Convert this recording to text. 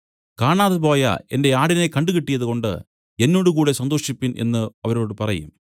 കാണാതെപോയ എന്റെ ആടിനെ കണ്ടുകിട്ടിയതുകൊണ്ട് എന്നോട് കൂടെ സന്തോഷിപ്പിൻ എന്നു അവരോട് പറയും